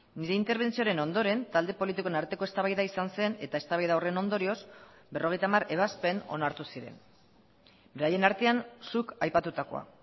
nire interbentzioaren ondoren talde politikoen arteko eztabaida izan zen eta eztabaida horren ondorioz berrogeita hamar ebazpen onartu ziren beraien artean zuk aipatutakoa